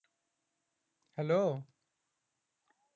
hello